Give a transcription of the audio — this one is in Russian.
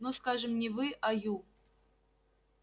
ну скажем не вы а ю